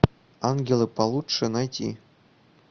ангелы получше найти